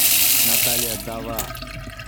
наталья дава